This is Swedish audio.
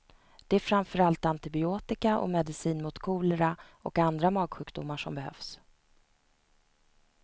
Det är framförallt antibiotika och medicin mot kolera och andra magsjukdomar som behövs.